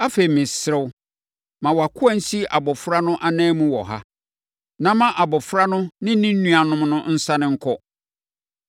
“Afei, mesrɛ wo, ma wʼakoa nsi abɔfra no ananmu wɔ ha, na ma abɔfra no ne ne nuammarima no nsane nkɔ.